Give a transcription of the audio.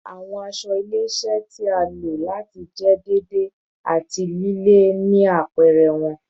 Awọn aṣọ ile-iṣẹ iṣẹ ti a lo lati jẹ deede ati lile ni apẹrẹ wọn